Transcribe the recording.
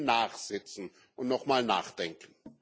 Da müssen Sie nachsitzen und nochmal nachdenken.